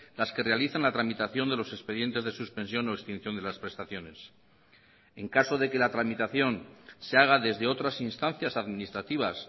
las que realizan la tramitación de los expedientes de suspensión o extinción de las prestaciones en caso de que la tramitación se haga desde otras instancias administrativas